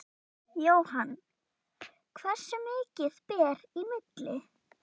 Jóhann: Hversu mikið ber í milli?